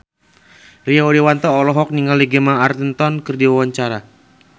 Rio Dewanto olohok ningali Gemma Arterton keur diwawancara